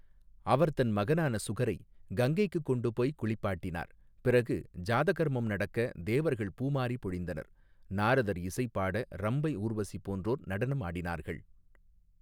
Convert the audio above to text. அவர் தன் மகனான சுகரை கங்கைக்கு கொண்டு போய் குளிப்பாட்டினார் பிறகு ஜாதகர்மம் நடக்க தேவர்கள் பூமாரி பொழிந்தனர் நாரதர் இசைபாட ரம்பை ஊர்வசி போன்றோர் நடனம் ஆடினார்கள்.